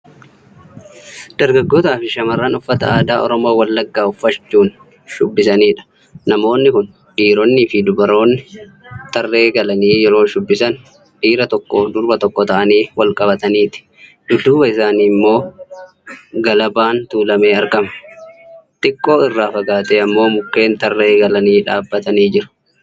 Dargaggoota fi shamarran uffata aadaa Oromoo Wallagaa uffachuun shubbisanidha. Namoonni kun dhiroonni fi durboonni tarree galanii yeroo shubbisan dhiira tokkoof durba tokko ta'anii walqabataniiti. Dudduuba isaanii immoo galabaan tuulamee argama . Xiqqoo irra fagaatee ammoo mukkeen tarree galaniii dhaabatanii jiru.